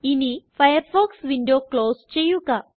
ഇനി Firefox window close ചെയ്യുക